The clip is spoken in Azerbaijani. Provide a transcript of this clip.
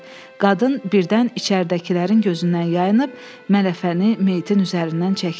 Qadın birdən içəridəkilərin gözündən yayınıb, mələfəni meyitin üzərindən çəkdi.